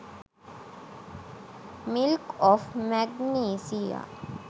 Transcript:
milk of magnesia